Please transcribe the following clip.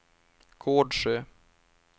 Gårdsjö